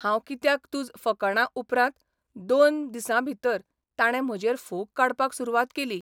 हांव कित्याक तुज फकाणां उपरांत दोन दिसां भितर ताणें म्हजेर फोग काडपाक सुरवात केली.